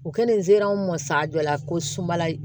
U kɛlen zeri an mɔn sajɔ la ko sumala